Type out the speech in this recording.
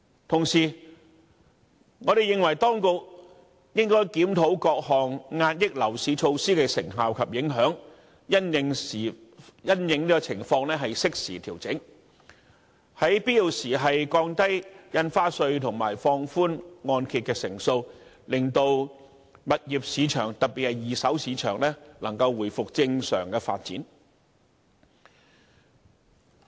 同時，我們認為，當局應該檢討各項遏抑樓市措施的成效及影響，因應情況適時調整，在必要時降低印花稅及放寬按揭成數，令物業市場能夠回復正常發展。